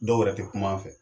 Dɔw yɛrɛ tɛ kuma an fɛ.